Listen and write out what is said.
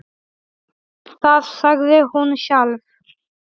Það sagði hún sjálf.